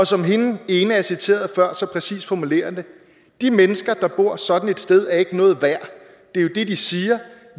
som hende ena jeg citerede før så præcist formulerede det de mennesker der bor sådan et sted er ikke noget værd det er jo det de siger